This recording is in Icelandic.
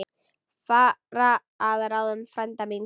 Fara að ráðum frænda míns.